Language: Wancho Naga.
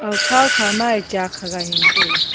aga phowkha ma a chak hagai ngan taiga.